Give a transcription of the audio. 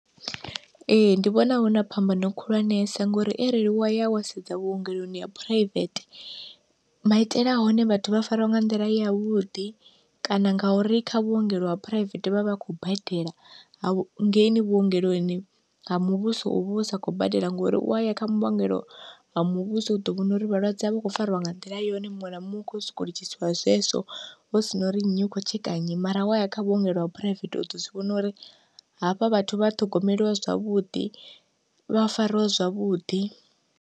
Ee ndi vhona huna phambano khulwanesa ngori arali wa ya wa sedza vhuongeloni ha phuraivete, maitele a hone vhathu vha fariwa nga nḓila yavhuḓi kana ngauri kha vhuongelo ha phuraivethe vhavha vha khou badela, hangeini vhuongeloni ha muvhuso uvha u sa khou badela ngori u waya kha vhuongelo ha muvhuso u ḓo vhona uri vhalwadze vha khou fariwa nga nḓila yone muṅwe na muṅwe kho soko litshisiwa zwezwo hu sina uri nnyi u kho tsheka nnyi, mara wa ya kha vhuongelo ha phuraivethe u ḓo zwivhona uri hafha vhathu vha ṱhogomeliwa zwavhuḓi vha fariwe zwavhuḓi.